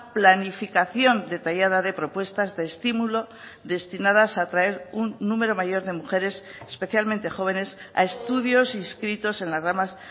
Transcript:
planificación detallada de propuestas de estimulo destinadas a atraer un número mayor de mujeres especialmente jóvenes a estudios inscritos en las ramas